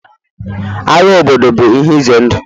Agha obodo ihe ize ndụ